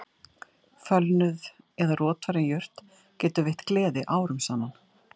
Fölnuð eða rotvarin jurt getur veitt gleði árum saman